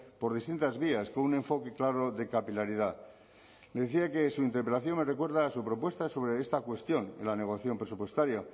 por distintas vías con un enfoque claro de capilaridad decía que su interpelación me recuerda a su propuesta sobre esta cuestión en la negociación presupuestaria